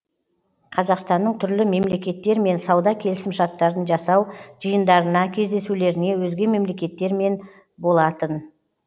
қазақстанның түрлі мемлекеттермен сауда келісімшарттарын жасау жиындарына кездесулеріне өзге мемлекеттермен болатын